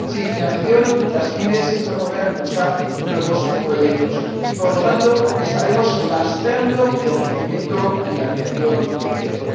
sin financiación las pymes no podrán impulsar nuevos proyectos, y, por lo tanto, estaremos lastrando el crecimiento y la creación de empleo.